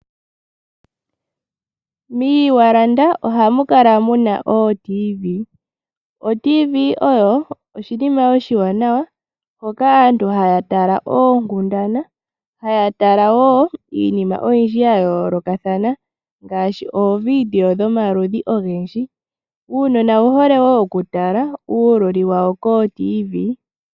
Moseti ohamu kala muna ootiivi. Otiivi oyo oshinima oshiwanawa hoka aantu haya tala oonkundana , haya tala wo iinima oyindji ya yoolokathana ngaashi ooviidio dhomaludhi ogendji. Uunona owu hole wo okutala uululi wawo kootiivi.